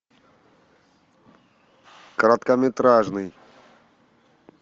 короткометражный